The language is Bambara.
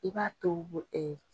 I b'a to bo ɛɛ